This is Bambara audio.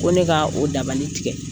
Ko ne ka o dabali tigɛ,